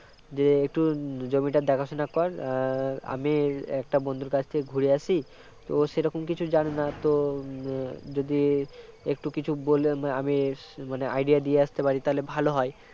যে একটু জমিটা দেখাশোনা কর আহ আমি একটা বন্ধুর কাছ থেকে ঘুরে আসি তো সেরকম কিছু জানি না তো যদি একটু কিছু বললে আমি idea দিয়ে আসতে পারি তাহলে ভাল হয়